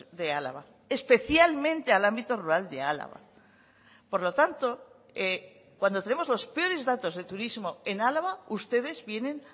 de álava especialmente al ámbito rural de álava por lo tanto cuando tenemos los peores datos de turismo en álava ustedes vienen